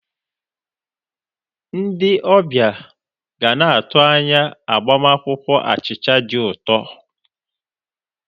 Ndi ọbịa ga na-atụ anya agbamakwụkwọ achịcha dị ụtọ.